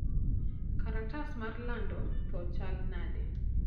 kalatas mar lando tho chal nade